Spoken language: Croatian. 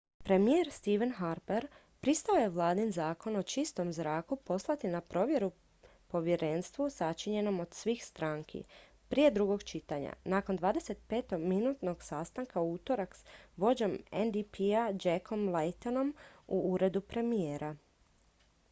premijer stephen harpher pristao je vladin zakon o čistom zraku poslati na provjeru povjerenstvu sačinjenom od svih stranki prije drugog čitanja nakon 25-minutnog sastanka u utorak s vođom ndp-a jackom laytonom u uredu premijera